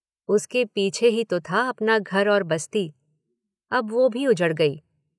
उसके पीछे ही तो था अपना घर और बस्ती। अब वो भी उजड़ गई।